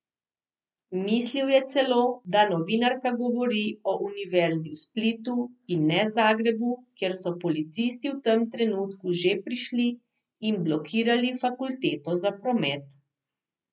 Mislil je celo, da novinarka govori o univerzi v Splitu in ne Zagrebu, kjer so policisti v tem trenutku že prišli in blokirali fakulteto za promet.